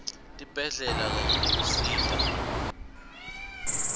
tibhedlela kanye nekusita